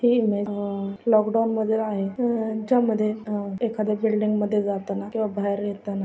हि इमेज अ लॉकडाउन मधील आहे अ ज्या मध्ये एखाद्या बिल्डिंग जाताना किंवा बाहेर येताना--